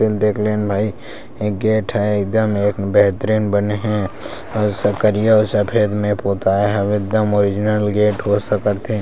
The देख लेन भाई गेट हे एकदम बेहतरीन बने हे अउ स करिया अउ सफ़ेद मे पोताय हे एकदम ओरिजिनल गेट हो सकते हे।